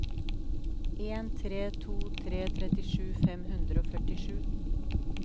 en tre to tre trettisju fem hundre og førtisju